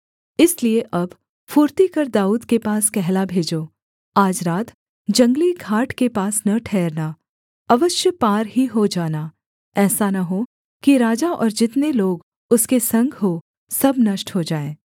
इसलिए अब फुर्ती कर दाऊद के पास कहला भेजो आज रात जंगली घाट के पास न ठहरना अवश्य पार ही हो जाना ऐसा न हो कि राजा और जितने लोग उसके संग हों सब नष्ट हो जाएँ